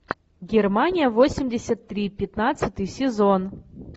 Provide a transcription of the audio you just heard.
германия восемьдесят три пятнадцатый сезон